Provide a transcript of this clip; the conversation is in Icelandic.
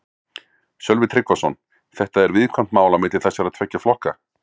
Sölvi Tryggvason: Þetta er viðkvæmt mál á milli þessara tveggja flokka?